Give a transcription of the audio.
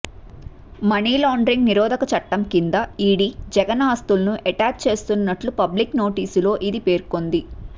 మని laundering నిరోధక చట్టం కింద ఈడీ జగన్ ఆస్తులను అటాచ్ చేస్తున్నట్లు పబ్లిక్ నోటీసులో ఇది పేర్కొంది